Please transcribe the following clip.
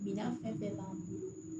Minan fɛn fɛn b'an bolo